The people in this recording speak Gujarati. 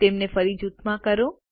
તેમને ફરીથી જૂથમાં કરો